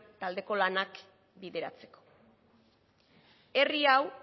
taldeko lanak bideratzeko herri hau